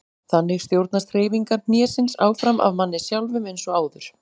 Þannig stjórnast hreyfingar hnésins áfram af manni sjálfum eins og áður.